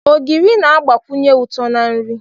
Ogiri na-agbakwunye uto na nri.